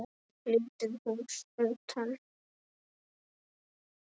Lítið hús utan.